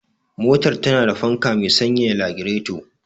Motar tana da fanka me sanyaya lagireto.